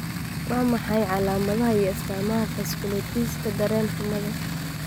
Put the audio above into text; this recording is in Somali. Waa maxay calaamadaha iyo astaamaha vasculitis-ka-dareen-xumada?